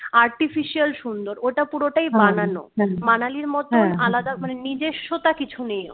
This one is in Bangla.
artificial সুন্দর ওটা পুরোটাই বানানো manali ইর মতোন আলাদা মানে নিজস্বতা কিছু নেই ওর